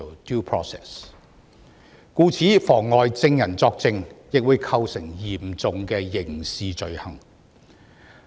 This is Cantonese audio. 故此，妨礙證人作證會構成嚴重的刑事罪行。